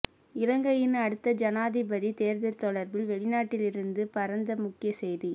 இலங்கையின் அடுத்த ஜனாதிபதி தேர்தல் தொடர்பில் வெளிநாட்டில் இருந்து பறந்த முக்கிய செய்தி